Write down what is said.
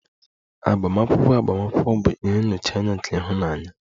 Agbamakwụkwọ agbamakwụkwọ bụ ihe nnọchianya nke ịhụnanya